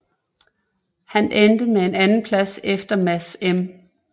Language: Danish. Han endte med en andenplads efter Mads M